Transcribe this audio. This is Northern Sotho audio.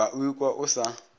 ba o ikwa o sa